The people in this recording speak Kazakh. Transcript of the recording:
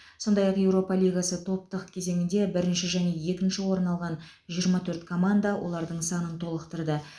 сондай ақ еуропа лигасы топтық кезеңінде бірінші және екінші орын алған жиырма төрт команда олардың санын толықтырды